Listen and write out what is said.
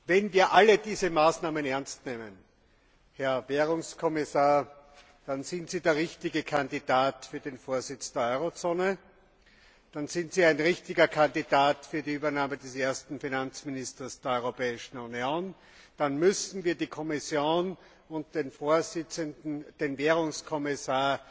Wenn wir alle diese Maßnahmen ernst nehmen, Herr Währungskommissar, dann sind Sie der richtige Kandidat für den Vorsitz der Eurozone, dann sind Sie ein richtiger Kandidat für die Übernahme des Amtes des ersten Finanzministers der Europäischen Union, dann müssten wir die Kommission und den Währungskommissar